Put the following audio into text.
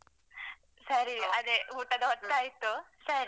ಸರಿ ಅದೇ ಊಟದ ಹೊತ್ತಾಯಿತು ಸರಿ.